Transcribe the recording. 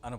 Ano.